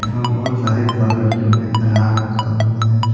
यहाँ बोहोत सारे फल रखे हुए अनार रखा हुआ है।